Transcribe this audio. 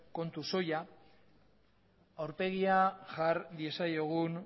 kontu soila aurpegia jar diezaiogun